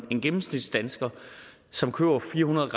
en gennemsnitsdansker som køber fire hundrede